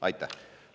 Aitäh!